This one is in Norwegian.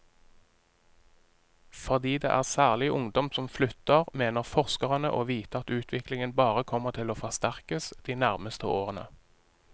Fordi det særlig er ungdom som flytter, mener forskerne å vite at utviklingen bare kommer til å forsterkes de nærmeste årene.